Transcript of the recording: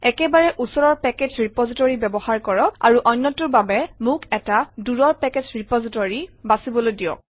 একেবাৰে ওচৰৰ package repository ব্যৱহাৰ কৰক আৰু অন্যটোৰ বাবে মোক এটা দূৰৰ পেকেজ ৰেপজিটৰী বাছিবলৈ দিয়ক